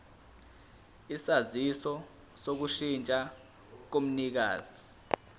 isaziso sokushintsha komnikazi